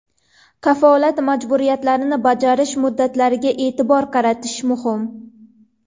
Kafolat majburiyatlarini bajarish muddatlariga e’tibor qaratish muhim.